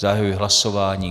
Zahajuji hlasování.